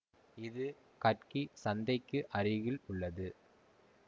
இது கட்கி சந்தைக்கு அருகில் உள்ளது